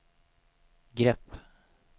grepp